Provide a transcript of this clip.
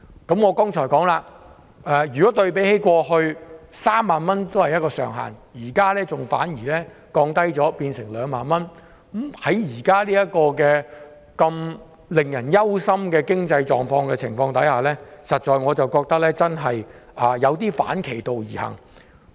正如我剛才指出，對比過去的3萬元上限，現時反而降低至2萬元，在現時如此令人憂心的經濟狀況下，我實在覺得這真的有點兒反其道而行。